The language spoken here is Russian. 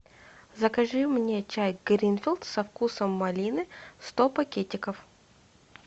закажи мне чай гринфилд со вкусом малины сто пакетиков